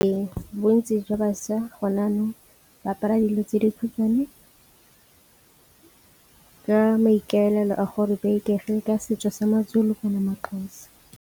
Ee, bontsi jwa bašwa gone jaanong ba apara dilo tse dikhutshwane ka maikaelelo a gore ba ikaegile ka setso sa maZulu maXhosa.